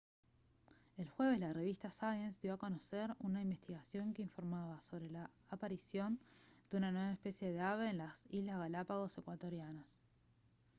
el jueves la revista science dio a conocer una investigación que informaba sobre la aparición de una nueva especie de ave en las islas galápagos ecuatorianas